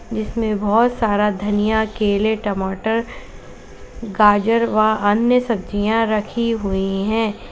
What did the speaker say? इसमें बहुत सारा धनिया केले टमाटर गाजर व अन्य सब्जियां रखी हुई है।